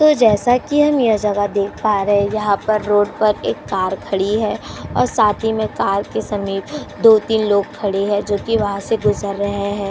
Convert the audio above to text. तो जैसा कि हम यह जगह देख पा रहे हैं यहाँ पर रोड पर एक कार खड़ी है और साथ ही में कार के समीप दो-तीन लोग खड़े हैं जोकि वहाँ से गुजर रहे हैं।